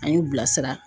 An y'u bilasira